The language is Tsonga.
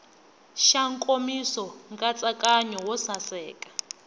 xa nkomiso nkatsakanyo wo saseka